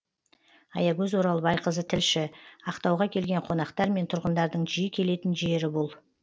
аягөз оралбайқызы тілші ақтауға келген қонақтар мен тұрғындардың жиі келетін жері бұл